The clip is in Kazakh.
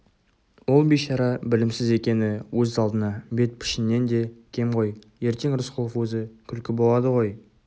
ол бишара білімсіз екені өз алдына бет-пішіннен де кем ғой ертең рысқұлов өзі күлкі болады ғой